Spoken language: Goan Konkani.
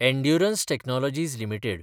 endurance technologies limited